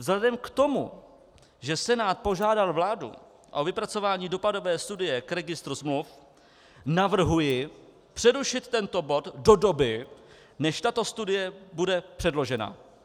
Vzhledem k tomu, že Senát požádal vládu o vypracování dopadové studie k registru smluv, navrhuji přerušit tento bod do doby, než tato studie bude předložena.